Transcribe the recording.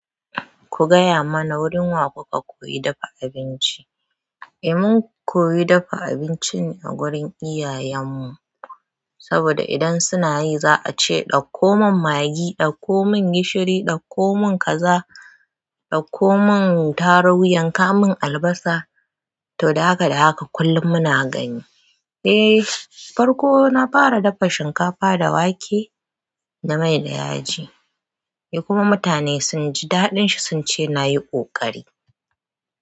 Ku gaya mana wurin wa kuka koyi dafa abinci? Eh mun koyi dafa abinci ne a wurin iyayen mu, saboda idan suna yi za a ce ɗauko mun magi, ɗauko mun gishiri, ɗauko mun kaza, ɗauko mun taru, yanka mun albasa to haka da haka kullum muna gani. Eh, farko na fara dafa shinkafa da wake da mai da yaji, eh kuma mutane sun ji daɗin shi sun ce na yi ƙoƙari.